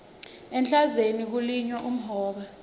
ehlandzeni kulinywa umhoba